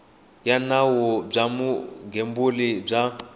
ya nawu bya vugembuli bya